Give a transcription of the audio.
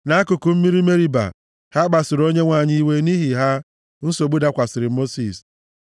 Nʼakụkụ mmiri Meriba, ha kpasuru Onyenwe anyị iwe, nʼihi ha, nsogbu dakwasịrị Mosis;